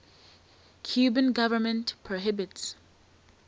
cuban government prohibits